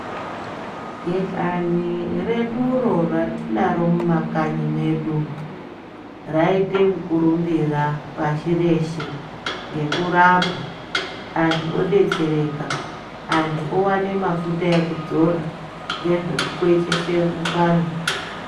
Kihlani reduro ratinaro mumakanyi mwedu raite mukurumbira pashi reshe ngekurapa anthu odetsereka anthu oone mafuta ekudzora ngezve kukweshese mukanwa.